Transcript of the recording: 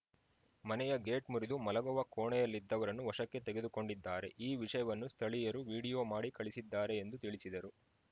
ಮನೆಯ ಗೇಟ್‌ ಮುರಿದು ಮಲಗುವ ಕೋಣೆಯಲ್ಲಿದ್ದವರನ್ನು ವಶಕ್ಕೆ ತೆಗೆದುಕೊಂಡಿದ್ದಾರೆ ಈ ವಿಷಯವನ್ನು ಸ್ಥಳೀಯರು ವಿಡಿಯೋ ಮಾಡಿ ಕಳಿಸಿದ್ದಾರೆ ಎಂದು ತಿಳಿಸಿದರು